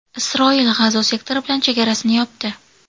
Isroil G‘azo sektori bilan chegarasini yopdi.